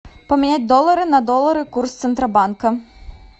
поменять доллары на доллары курс центробанка